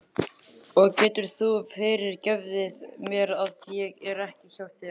Og geturðu fyrirgefið mér að ég er ekki hjá þér?